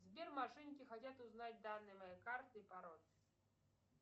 сбер мошенники хотят узнать данные моей карты и пароль